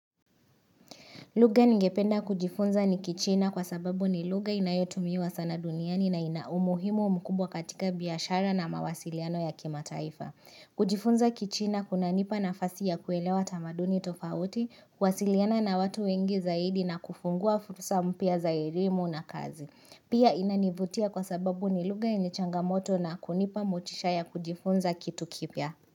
Lugha ningependa kujifunza ni kichina kwa sababu ni lugha inayotumiwa sana duniani na ina umuhimu mkubwa katika biashara na mawasiliano ya kimataifa. Kujifunza kichina kunanipa nafasi ya kuelewa tamaduni tofauti, kuwasiliana na watu wengi zaidi na kufungua fursa mpya za erlimu na kazi. Pia inanivutia kwa sababu ni lugha yenye changamoto na kunipa motisha ya kujifunza kitu kipya.